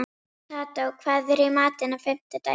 Kató, hvað er í matinn á fimmtudaginn?